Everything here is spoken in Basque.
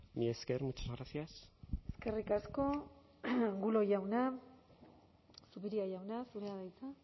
mila esker muchas gracias eskerrik asko angulo jauna zupiria jauna zurea da hitza